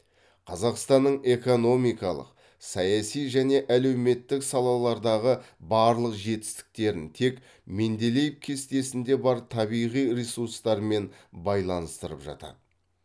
қазақстанның экономикалық саяси және әлеуметтік салалардағы барлық жетістіктерін тек менделеев кестесінде бар табиғи ресурстармен байланыстырып жатады